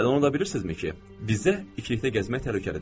Hələ onu da bilirsizmi ki, bizə ikilikdə gəzmək təhlükəlidir?